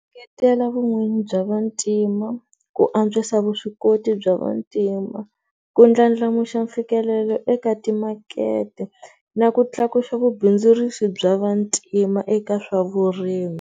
vun'wini bya vantima, ku antswisa vuswikoti bya vantima, ku ndlandlamuxa mfikelelo eka timakete na ku tlakusa vubindzurisi bya vantima eka swa vurimi.